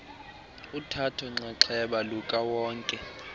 uthatho nxaxheba lukawonke